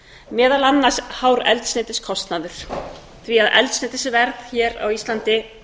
meðal annars hár eldsneytiskostnaður því eldsneytisverð hér á íslandi